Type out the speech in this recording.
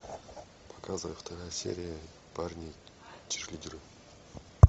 показывай вторая серия парни черлидеры